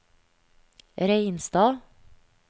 Reinstad